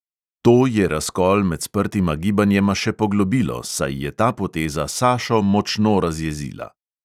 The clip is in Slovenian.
To je razkol med sprtima gibanjema še poglobilo, saj je ta poteza sašo močno razjezila.